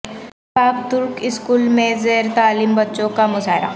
پاک Turk school میں زیر تعلیم بچوں کا مظاہرہ